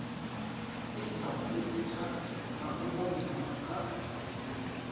inthaseputha na u monitha na